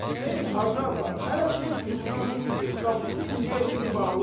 Xeyr Hacı ağa, hələ Şeyx yuxudan durmayıb, qapısı indiyə kimi bağlıdır.